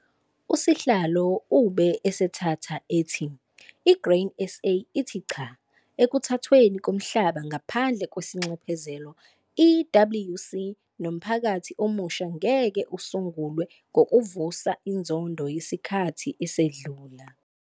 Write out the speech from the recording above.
Usihlalo ube esethatha ethi iGrain SA ithi 'CHA' Ekuthathweni koMhlaba ngaPhandle kwesiNxephezelo', EWC, no 'mphakathi omusha ngeke usungulwe ngokuvusa inzondo yesikhathi esedlule'.